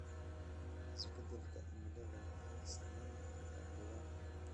Isbeddelka cimiladu waxay saameyn kartaa deegaanka.